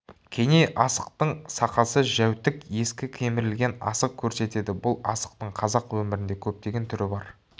кеней асықтың сақасы жәутүк ескі кемірілген асық көрсетеді бұл асықтың қазақ өмірінде көптеген түрі бар